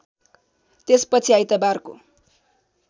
त्यसपछि आइतबारको